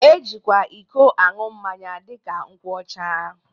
E jikwa iko ańụ mmanya dịka nkwụ ọcha